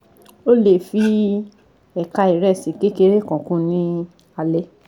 O le fi ekan iresi kekere kan kun ni alẹ